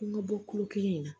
An ka bɔ tulo kelen in na